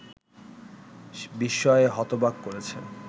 বিস্ময়ে হতবাক করেছে